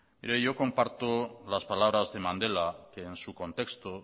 mire yo comparto las palabras de mandela que en su contexto